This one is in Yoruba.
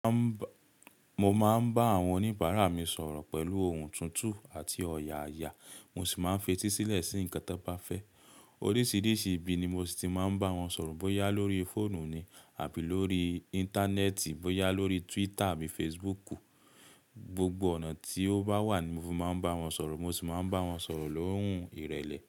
Mo máa ń bá àwọn oníbàárà mi sọ̀rọ̀ pẹ̀lú ohùn tuntun àti ọ̀yààyà, mo sì máa ń fetísílẹ̀ sí ǹkan tó bá fẹ́. Oríṣìíríṣìí ibi ni mo ti máa ń bá wọn sọ̀rọ̀ bóyá lórí fóònù ni àbí lórí Íńtánẹ́ẹ̀tì, bóyá lórí Twitter àbí Facebook. Gbogbo ọ̀nà tí ó bá wà ni mo máa ń bá wọn sọ̀rọ̀, mo sì máa ń bá wọn sọ̀rọ̀ lóhùn ìrẹ̀lẹ̀